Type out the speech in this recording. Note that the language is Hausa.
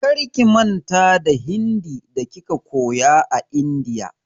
Karki manta da Hindi da kika koya a India!